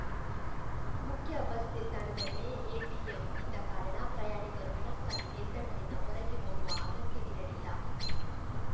ಮುಖ್ಯ ಬಸ್‌ ನಿಲ್ದಾಣದಲ್ಲಿಯೇ ಎಟಿಎಂ ಇದ್ದ ಕಾರಣ ಪ್ರಯಾಣಿಕರು ಹಣಕ್ಕಾಗಿ ನಿಲ್ದಾಣದಿಂದ ಹೊರಗೆ ಹೋಗುವ ಅಗತ್ಯವಿರಲಿಲ್ಲ